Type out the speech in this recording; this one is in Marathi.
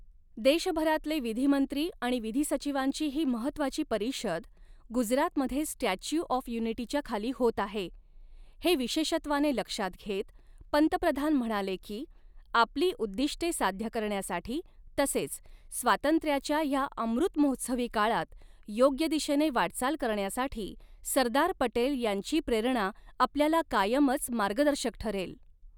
देशभरातले विधिमंत्री आणि विधिसचिवांची ही महत्वाची परिषद, गुजरातमध्ये स्टॅच्यू ऑफ़ युनिटी च्या खाली होत आहे, हे विशेषत्वाने लक्षात घेत पंतप्रधान म्हणाले की, आपली उद्दिष्टे साध्य करण्यासाठी तसेच, स्वातंत्र्याच्या ह्या अमृत महोत्सवी काळात, योग्य दिशेने वाटचाल करण्यासाठी सरदार पटेल यांची प्रेरणा आपल्याला कायमच मार्गदर्शक ठरेल.